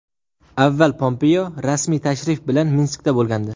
Avval Pompeo rasmiy tashrif bilan Minskda bo‘lgandi.